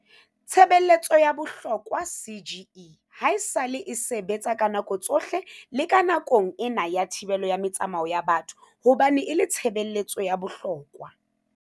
Tshebeletso ya bohlokwaCGE haesale e sebetsa ka nako tsohle le nakong ena ya thibelo ya metsamao ya batho hobane e le tshebe letso ya bohlokwa.